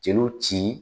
Jeliw ci